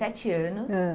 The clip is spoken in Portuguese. anos. Ãh